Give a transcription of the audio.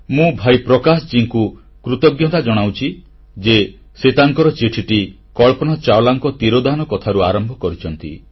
ମୁଁ ଭାଇ ପ୍ରକାଶ ତ୍ରିପାଠୀଙ୍କୁ କୃତଜ୍ଞତା ଜଣାଉଛି ଯେ ସେ ତାଙ୍କର ଚିଠିଟି କଳ୍ପନା ଚାଓଲାଙ୍କ ତିରୋଧାନ କଥାରୁ ଆରମ୍ଭ କରିଛନ୍ତି